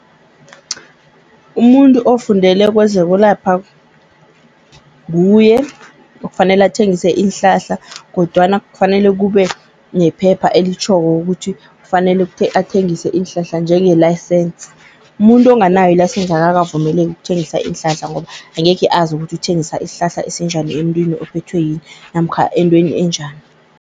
Umuntu ofundele kwezokulapha, nguye okufanele athengise iinhlahla kodwana kufanele kube nephepha elitjhoko ukuthi kufanele athengise iinhlahla njenge-license. Umuntu onganayo i-license akakavumeleki ukuthengisa iinhlahla ngoba angekhe azi ukuthi uthengisa isihlahla esinjani emntwini ophethwe yini namkha entweni enjani.